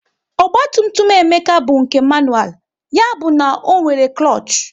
Ogba tum tum Emeka bụ nke manual, ya bụ na ọ nwere klush